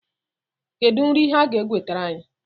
Kedu nri ha ga-ewetara anyị?